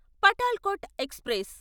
Patalkot express